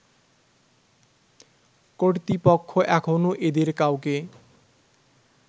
কর্তৃপক্ষ এখনও এদের কাউকে